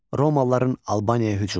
Romalıların Albaniyaya hücumu.